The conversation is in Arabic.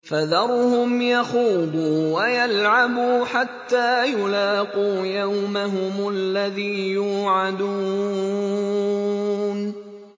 فَذَرْهُمْ يَخُوضُوا وَيَلْعَبُوا حَتَّىٰ يُلَاقُوا يَوْمَهُمُ الَّذِي يُوعَدُونَ